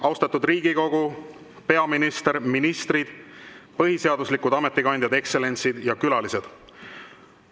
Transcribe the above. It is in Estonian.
Austatud Riigikogu, peaminister, ministrid, põhiseaduslikud ametikandjad, ekstsellentsid ja külalised!